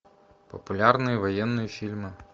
популярные военные фильмы